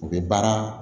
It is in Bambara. U bɛ baara